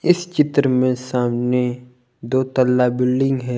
इस चित्र में सामने दो तल्ला बिल्डिंग है।